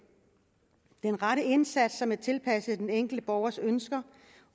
den rette indsats som er tilpasset den enkelte borgers ønsker